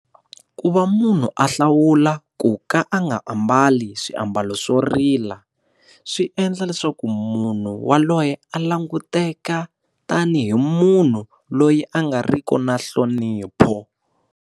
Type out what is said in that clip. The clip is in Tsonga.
Ku va munhu a hlawula ku ka a nga ambali swiambalo swo rila swi endla leswaku munhu yaloye a languteka tanihi munhu loyi a nga riki na nhlonipho.